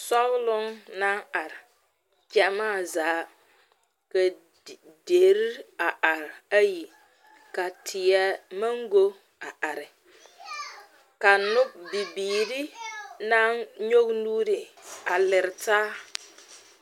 Sɔɡeloŋ naŋ are ɡyamaa zaa ka deri a are ayi ka teɛ maŋɡo a are ka bibiiri naŋ nyɔɡe nuuri a lere taa.